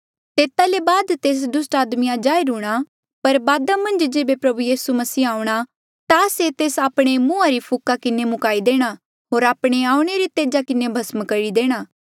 तेता ले बाद तेस दुस्ट आदमिया जाहिर हूंणां पर बादा मन्झ जेबे प्रभु यीसू मसीह आऊंणा ता से तेस आपणे मुंहा री फूका किन्हें मुकाई देणा होर आपणे आऊणें रे तेजा किन्हें भस्म करी देणा